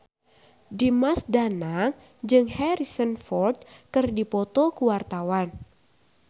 Dimas Danang jeung Harrison Ford keur dipoto ku wartawan